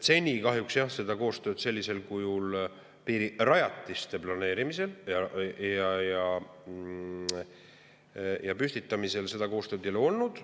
Seni kahjuks jah seda koostööd piirirajatiste planeerimisel ja püstitamisel ei ole olnud.